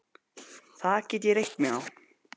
Það get ég reitt mig á.